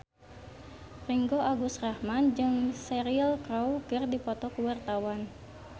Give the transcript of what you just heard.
Ringgo Agus Rahman jeung Cheryl Crow keur dipoto ku wartawan